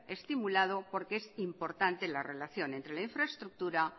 estimulado porque es importante la relación entra la infraestructura